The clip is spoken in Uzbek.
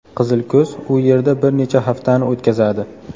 Qizilko‘z u yerda bir necha haftani o‘tkazadi.